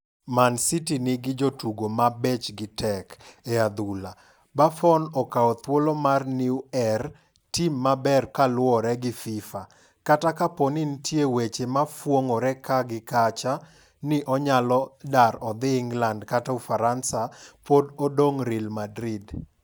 Man City nigi 'jotugo ma bechgi tek' e adhul. Buffon okawo thuolo mar Neuer tim maber kaluore gi Fifa. Kata kapo ni ntie weche mafuong'ore kaa gi kacha ni onyalo dar odhi England kata Ufaransa, pod odong' Real Madrid.